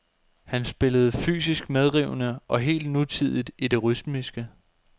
Han spillede fysisk medrivende og helt nutidigt i det rytmiske.